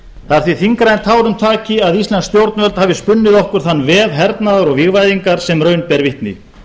það er því þyngra en tárum taki að íslensk stjórnvöld hafi spunnið okkur þann vef hernaðar og vígvæðingar sem raun ber vitni